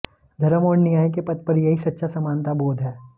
धर्म और न्याय के पथ पर यही सच्चा समानता बोध है